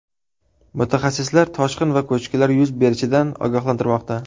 Mutaxassislar toshqin va ko‘chkilar yuz berishidan ogohlantirmoqda.